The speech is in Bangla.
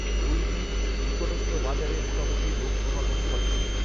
ঐদিন নিকটস্থ বাজারে মোটামুটি লোক সমাগম ঘটে